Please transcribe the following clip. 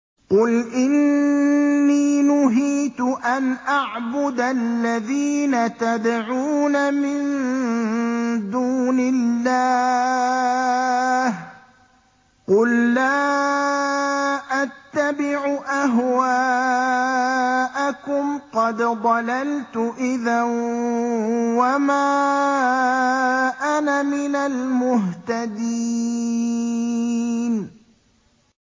قُلْ إِنِّي نُهِيتُ أَنْ أَعْبُدَ الَّذِينَ تَدْعُونَ مِن دُونِ اللَّهِ ۚ قُل لَّا أَتَّبِعُ أَهْوَاءَكُمْ ۙ قَدْ ضَلَلْتُ إِذًا وَمَا أَنَا مِنَ الْمُهْتَدِينَ